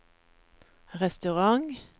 restaurant